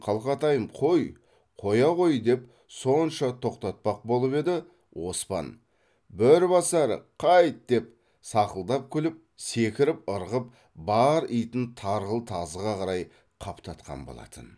қалқатайым қой қоя ғой деп сонша тоқтатпақ болып еді оспан бөрібасар қайт деп сақылдап күліп секіріп ырғып бар итін тарғыл тазыға қарай қаптатқан болатын